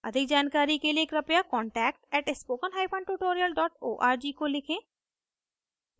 अधिक जानकारी के लिए कृपया contact @spokentutorial org को लिखें